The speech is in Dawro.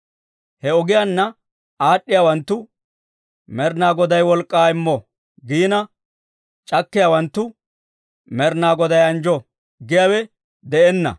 He ogiyaanna aad'd'iyaawanttu, «Med'inaa Goday wolk'k'aa immo» giina, c'akkiyaawanttu, «Med'inaa Goday anjjo» giyaawe de'enna.